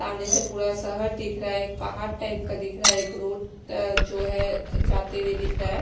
सामने से पूरा शहर दिख रहा है एक पहाड़ टाइप का दिख रहा है एक रोड अ जो है जाते हुए दिख रहा है।